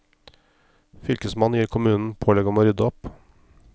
Fylkesmannen gir kommunen pålegg om å rydde opp.